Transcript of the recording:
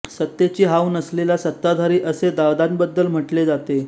सत्तेची हाव नसलेला सत्ताधारी असे दादांबद्दल म्हटले जाते